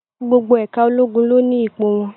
Gbogbo ẹ̀ka ológun ló ni ipò wọn.